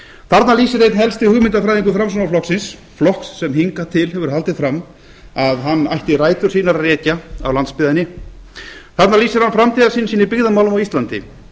þarna lýsir einn helsti hugmyndafræðingur framsóknarflokksins flokks sem hingað til hefur haldið fram að hann ætti rætur sínar að rekja á landsbyggðinni þarna lýsir hann framtíðarsýn sinni í byggðamálum á íslandi